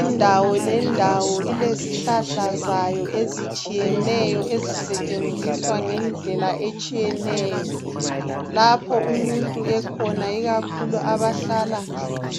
Indawo lendawo ilezihlahla zayo ezitshiyeneyo ezisetshenziswa ngendlela etshiyeneyo. Lapho umuntu ekhona ikakhulu abahlala